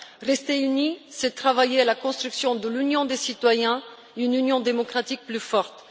Rester unis, c'est travailler à la construction de l'Union des citoyens, d'une union démocratique plus forte.